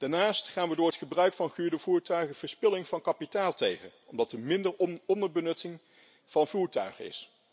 Daarnaast gaan we door het gebruik van gehuurde voertuigen verspilling van kapitaal tegen, omdat er minder onderbenutting van voertuigen is.